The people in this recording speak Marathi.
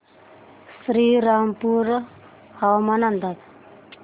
श्रीरामपूर हवामान अंदाज